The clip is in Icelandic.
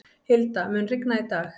Hilda, mun rigna í dag?